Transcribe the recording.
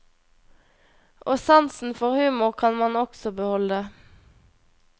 Og sansen for humor kan man også beholde.